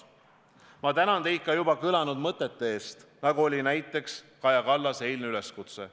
Ma tänan teid juba kõlanud mõtete eest, nagu oli näiteks Kaja Kallase eilne üleskutse.